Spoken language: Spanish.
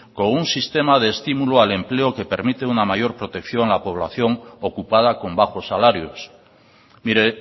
con un sistema de estímulo al empleo que permite una mayor protección a la población ocupada con bajos salarios mire